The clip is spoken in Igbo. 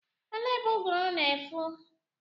Elee ebe ụgụrụ na-afụ?